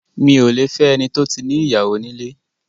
Mi ò lẹ fẹ́ ẹni tó ti ní ìyàwó nílé.